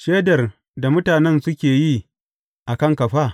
Shaidar da mutanen nan suke yi a kanka fa?